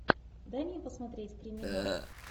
дай мне посмотреть криминал